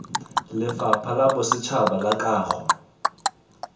lefapha la bosetšhaba la kago